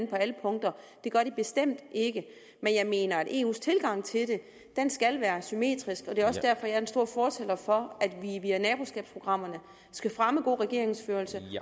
på alle punkter det gør de bestemt ikke men jeg mener at eus tilgang til det skal være symmetrisk og det er derfor jeg er en stor fortaler for at vi via naboskabsprogrammerne skal fremme god regeringsførelse